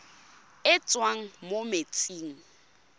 e e tswang mo metsing